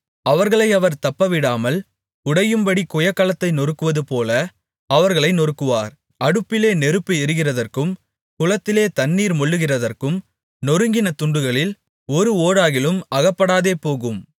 அவர்களை அவர் தப்பவிடாமல் உடையும்படி குயக்கலத்தை நொறுக்குவதுபோல அவர்களை நொறுக்குவார் அடுப்பிலே நெருப்பு எடுக்கிறதற்கும் குளத்திலே தண்ணீர் மொள்ளுகிறதற்கும் நொறுங்கின துண்டுகளில் ஒரு ஓடாகிலும் அகப்படாதேபோகும்